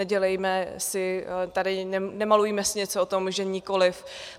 Nedělejme si tady, nemalujme si něco o tom, že nikoliv.